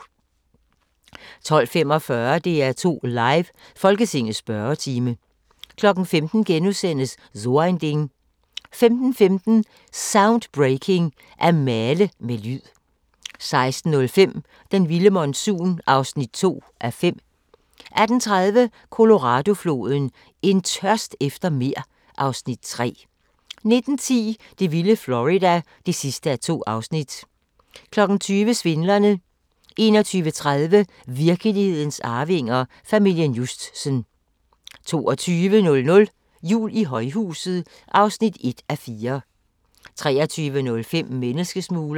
12:45: DR2 Live: Folketingets spørgetime 15:00: So ein Ding * 15:15: Soundbreaking – At male med lyd 16:05: Den vilde monsun (2:5) 18:30: Colorado-floden: En tørst efter mere (Afs. 3) 19:10: Det vilde Florida (2:2) 20:00: Svindlerne 21:30: Virkelighedens arvinger: Familien Justsen 22:00: Jul i højhuset (1:4) 23:05: Menneskesmuglerne